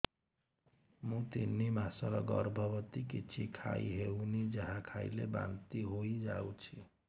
ମୁଁ ତିନି ମାସର ଗର୍ଭବତୀ କିଛି ଖାଇ ହେଉନି ଯାହା ଖାଇଲେ ବାନ୍ତି ହୋଇଯାଉଛି